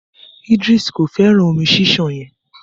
Idris ko fẹràn omi ṣiṣan yen.